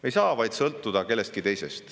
Me ei saa sõltuda kellestki teisest.